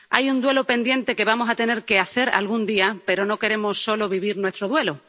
Hay un duelo pendiente que vamos a tener que hacer algún día, pero no queremos solo vivir nuestro duelo.